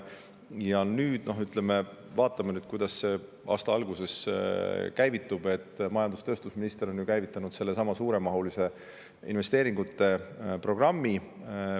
Ja nüüd vaatame, kuidas aasta alguses käivitub see, mille majandus- ja tööstusminister on käivitanud, nimelt suuremahuliste investeeringute programm.